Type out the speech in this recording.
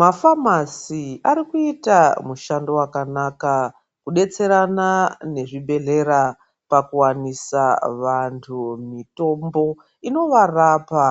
Mafamasi arikuita mushando wakanaka kudetserana nezvibhedhlera pakuwanisa vantu mitombo inovarapa